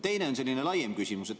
Teine on selline laiem küsimus.